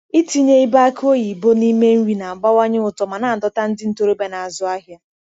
Ịtinye ibe aki oyibo n’ime nri na-abawanye ụtọ ma na-adọta ndị ntorobịa na-azụ ahịa.